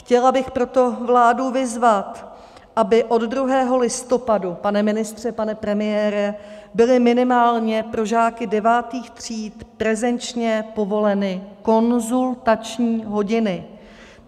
Chtěla bych proto vládu vyzvat, aby od 2. listopadu, pane ministře, pane premiére, byly minimálně pro žáky devátých tříd prezenčně povoleny konzultační hodiny.